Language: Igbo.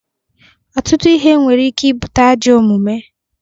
Ọtụtụ ihe nwere ike ibute ajọ omume.